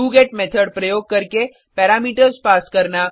do get method प्रयोग करके parameters pass करना